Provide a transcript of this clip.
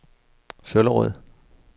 Søllerød